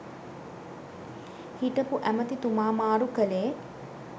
හිටපු ඇමැතිතුමා මාරු කළේ